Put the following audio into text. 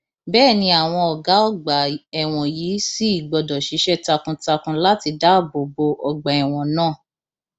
bẹẹ ni àwọn ọgá ọgbà ẹwọn yìí sì gbọdọ ṣiṣẹ takuntakun láti dáàbò bo ọgbà ẹwọn náà